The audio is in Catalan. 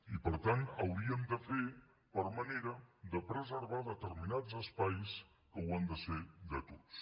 i per tant hauríem de fer per manera de preservar determinats espais que han de ser de tots